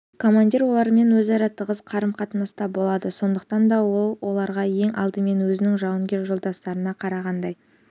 командир олармен өзара тығыз қарым-қатынаста болады сондықтан да ол оларға ең алдымен өзінің жауынгер жолдастарына қарағандай